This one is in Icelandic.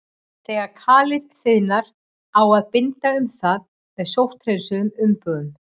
Þegar kalið þiðnar á að binda um það með sótthreinsuðum umbúðum.